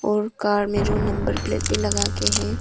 और कार में जो नंबर प्लेट भी लगाके हैं।